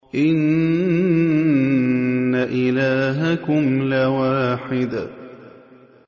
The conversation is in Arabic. إِنَّ إِلَٰهَكُمْ لَوَاحِدٌ